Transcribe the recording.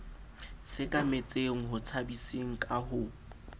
sekametseng ho tshabiseng ka ho